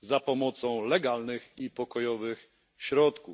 za pomocą legalnych i pokojowych środków.